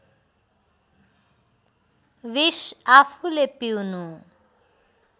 विष आफूले पिउनु